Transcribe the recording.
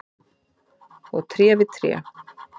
og tré við tré.